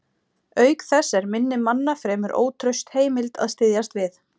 Auk þess er minni manna fremur ótraust heimild að styðjast við.